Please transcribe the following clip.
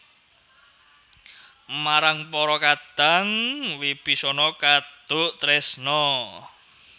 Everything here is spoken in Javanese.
Marang para kadang Wibisana kaduk tresna